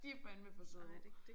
De fandeme for søde